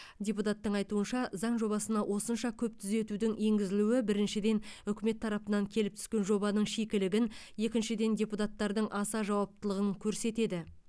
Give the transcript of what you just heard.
депутаттың айтуынша заң жобасына осынша көп түзетудің енгізілуі біріншіден үкімет тарапынан келіп түскен жобаның шикілігін екіншіден депутаттардың аса жауаптылығын көрсетеді